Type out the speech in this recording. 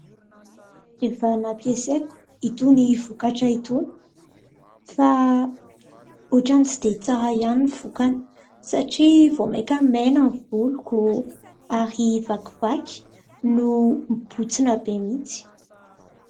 Efa nampiasaiko itony vokatra itony fa otrany tsy dia tsara ihany ny vokany satria vaomaika maina ny voloko ary vakivaky no mibotsina be mihitsy.